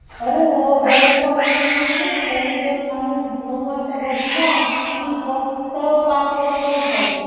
अरे हो बऱ्याच colleges मध्ये ना, सकाळी जर माणूस नऊ वाजता बसला . कि फक्त पाच वाजेला उठायचं.